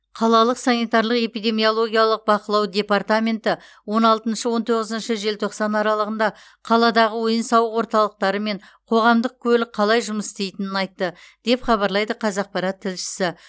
қалалық санитарлық эпидемиологиялық бақылау департаменті он алтыншы он тоғызыншы желтоқсан аралығында қаладағы ойын сауық орталықтары мен қоғамдық көлік қалай жұмыс істейтінін айтты деп хабарлайды қазақпарат тілшісі